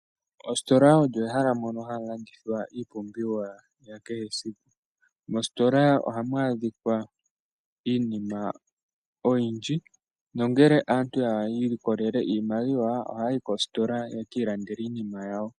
Ositola oyo ehala ndono hamu landithwa iipumbiwa ya kehe esiku. Mositola ohamu adhika iinima oyindji, nongele aantu ya ilikolele iimaliwa ohaya yi koositola ye ki ilandele iinima yawo.